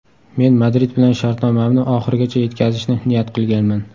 Men Madrid bilan shartnomamni oxirigacha yetkazishni niyat qilganman.